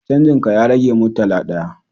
Canjin ka ya rage murtala ɗaya